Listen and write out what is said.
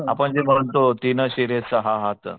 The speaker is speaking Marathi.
आपण जे म्हणतो तीन शिरेचा हा हात